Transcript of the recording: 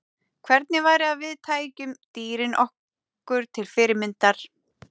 Hvernig væri að við tækjum dýrin okkur til fyrirmyndar?